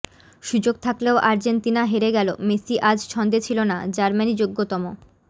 সুযোগ থাকলেও আর্জেন্তিনা হেরে গেল মেসি আজ ছন্দে ছিল না জার্মানি যৌগ্যতম